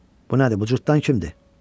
Bu nədir, bu cırtdan kimdir?